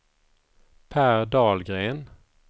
Per Dahlgren